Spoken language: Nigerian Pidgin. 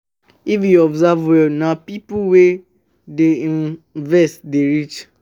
If you observe well, na pipo wey dey um invest dey rich.